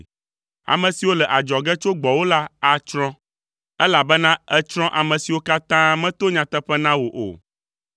Ame siwo le adzɔge tso gbɔwò la atsrɔ̃, elabena ètsrɔ̃ ame siwo katã meto nyateƒe na wo o.